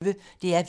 DR P1